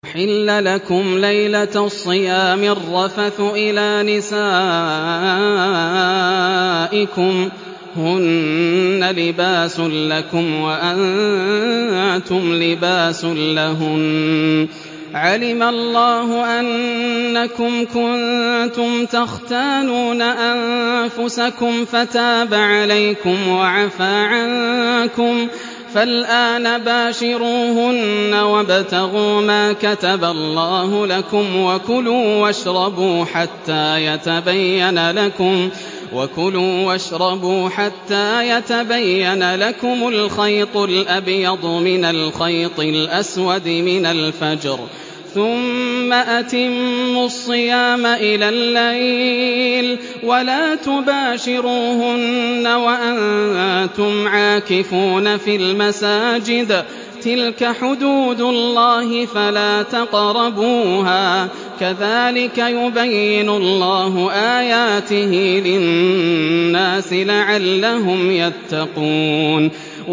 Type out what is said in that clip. أُحِلَّ لَكُمْ لَيْلَةَ الصِّيَامِ الرَّفَثُ إِلَىٰ نِسَائِكُمْ ۚ هُنَّ لِبَاسٌ لَّكُمْ وَأَنتُمْ لِبَاسٌ لَّهُنَّ ۗ عَلِمَ اللَّهُ أَنَّكُمْ كُنتُمْ تَخْتَانُونَ أَنفُسَكُمْ فَتَابَ عَلَيْكُمْ وَعَفَا عَنكُمْ ۖ فَالْآنَ بَاشِرُوهُنَّ وَابْتَغُوا مَا كَتَبَ اللَّهُ لَكُمْ ۚ وَكُلُوا وَاشْرَبُوا حَتَّىٰ يَتَبَيَّنَ لَكُمُ الْخَيْطُ الْأَبْيَضُ مِنَ الْخَيْطِ الْأَسْوَدِ مِنَ الْفَجْرِ ۖ ثُمَّ أَتِمُّوا الصِّيَامَ إِلَى اللَّيْلِ ۚ وَلَا تُبَاشِرُوهُنَّ وَأَنتُمْ عَاكِفُونَ فِي الْمَسَاجِدِ ۗ تِلْكَ حُدُودُ اللَّهِ فَلَا تَقْرَبُوهَا ۗ كَذَٰلِكَ يُبَيِّنُ اللَّهُ آيَاتِهِ لِلنَّاسِ لَعَلَّهُمْ يَتَّقُونَ